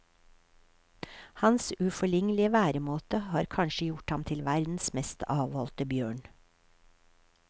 Hans uforlignelige væremåte har kanskje gjort ham til verdens mest avholdte bjørn.